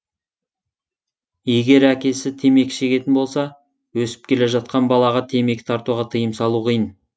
егер әкесі темекі шегетін болса өсіп келе жатқан балаға темекі тартуға тыйым салу қиын